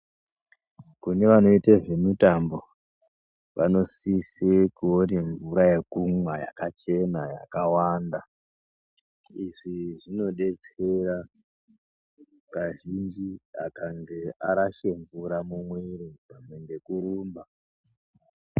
Kune anoite zvemutambo vanosise kuone mvura yekumwa yakachena yakawanda izvi zvinodetsera kazhinji kana arashe mvura mumwiri pamwe nge echirumba.